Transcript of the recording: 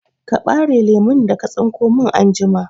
Ka ɓare lemun da ka tsinko min anjima!